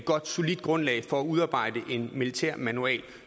godt solidt grundlag for at udarbejde en militær manual